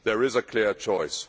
There is a clear choice.